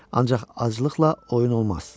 Ancaq aclıqla oyun olmaz.